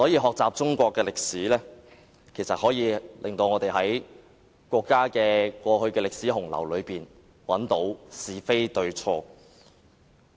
學習中國歷史，有助我們在國家的歷史洪流中分辨是非對錯。